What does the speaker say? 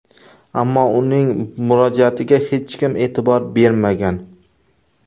Ammo uning murojaatiga hech kim e’tibor bermagan.